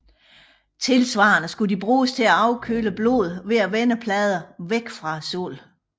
Tilsvarende skulle de bruges til at afkøle blodet ved at vende pladerne væk fra solen